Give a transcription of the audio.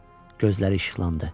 Gözləri işıqlandı.